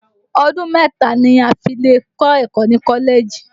Ọdún mẹ́ta ni a fi lè kọ́ ẹ̀kọ́ ni Kọ́lẹ́jì